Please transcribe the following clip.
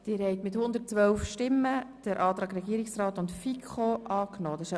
Sie haben den Antrag von Regierungsrat und FiKo angenommen.